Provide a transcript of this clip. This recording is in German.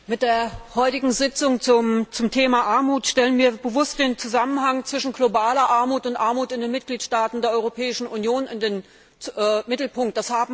Frau Präsidentin! Mit der heutigen Sitzung zum Thema Armut stellen wir bewusst den Zusammenhang zwischen globaler Armut und Armut in den Mitgliedstaaten der Europäischen Union in den Mittelpunkt.